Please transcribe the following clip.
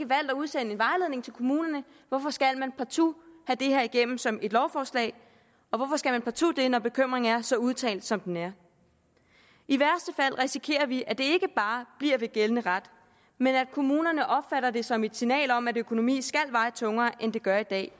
valgt at udsende en vejledning til kommunerne hvorfor skal man partout have det her igennem som et lovforslag og hvorfor skal man partout det når bekymringen er så udtalt som den er i værste fald risikerer vi at det ikke bare bliver ved gældende ret men at kommunerne opfatter det som et signal om at økonomi skal veje tungere end det gør i dag